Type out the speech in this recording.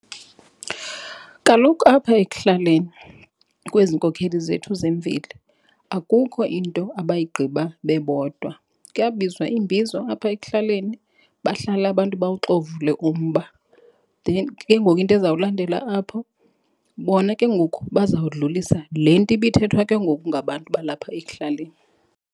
Kaloku apha ekuhlaleni kwezinkokheli zethu zemveli akukho into abayigqiba bebodwa. Kuyabizwa imbizo apha ekuhlaleni bahlale abantu bawuxovule umba. Then ke ngoku into ezawulandela apho bona ke ngoku bazawudlulisa le nto ibithethwa ke ngoku ngabantu balapha ekuhlaleni.